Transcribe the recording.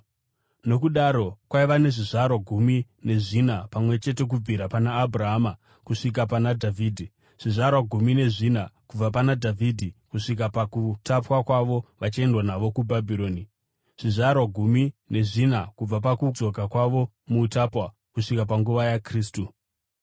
Nokudaro kwaiva nezvizvarwa gumi nezvina pamwe chete kubvira pana Abhurahama kusvika pana Dhavhidhi, zvizvarwa gumi nezvina kubva pana Dhavhidhi kusvika pakutapwa kwavo vachiendwa navo kuBhabhironi, zvizvarwa gumi nezvina kubva pakudzoka kwavo kuutapwa kusvika panguva yaKristu.